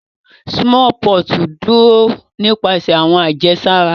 Smallpox duro nipasẹ awọn ajesara.